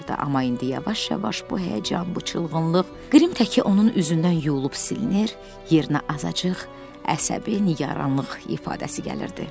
Amma indi yavaş-yavaş bu həyəcan, bu çılğınlıq qrim təki onun üzündən yuyulub silinir, yerinə azacıq əsəbi nigaranlıq ifadəsi gəlirdi.